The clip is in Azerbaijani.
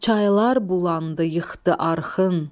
Çaylar bulandı yıxdı arxın,